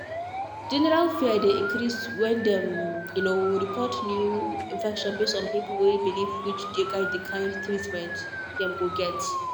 general fear dey increase when dem um report new infection base on pipo way believewhich dey guide the kind treatment dem go get.